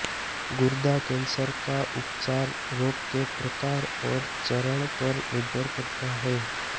गुर्दा कैंसर का उपचार रोग के प्रकार और चरण पर निर्भर करता है